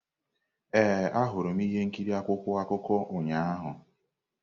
Ee, ahụrụ m ihe nkiri akwụkwọ akụkọ ụnyahụ.